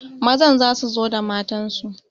Mazan za su zo da matansu